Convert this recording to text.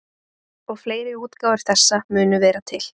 Og fleiri útgáfur þessa munu vera til.